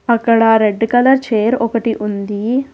అక్కడా red colour chair ఒకటి ఉంది.